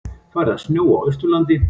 Farið að snjóa á Austurlandi